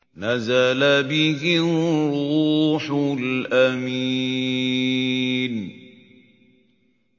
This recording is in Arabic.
نَزَلَ بِهِ الرُّوحُ الْأَمِينُ